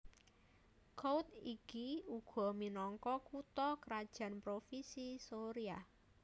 Kouth iki uga minangka kutha krajan Provinsi Soria